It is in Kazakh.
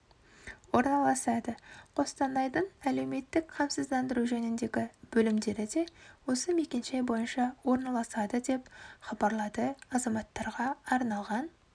орналасады қостанайдың әлеуметтік қамсыздандыру жөніндегі бөлімдері де осы мекенжай бойынша орналасады деп хабарлады азаматтарға арналған